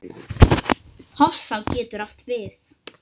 Hofsá getur átt við